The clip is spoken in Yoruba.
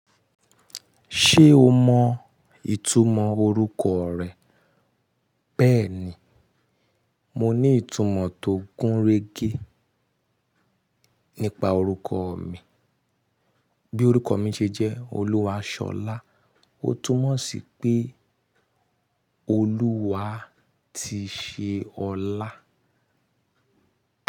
Ṣé o mọ ìtumọ̀ orúkọ rẹ? Bẹ́ẹ̀ni, mo ní ìtumọ̀ tó gúnrégé nípa orúkọ mi. Bí orúkọ mi ṣe jẹ́ Oluwasọlá, ó túmọ̀ sí pé Olúwa ti ṣe ọlá.